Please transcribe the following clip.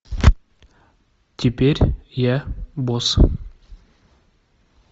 теперь я босс